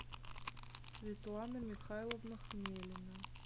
светлана михайловна хмелина